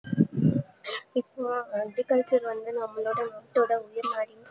வந்து நம்மளோட நாடோட உயிர்நாடி